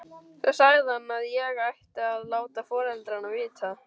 Svo sagði hann að ég ætti að láta foreldrana vita.